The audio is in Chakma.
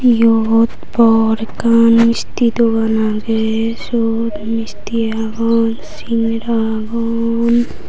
yot bor ekkan misti dogan aagey siyot misti agon singira agon.